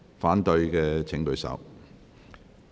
反對的請舉手。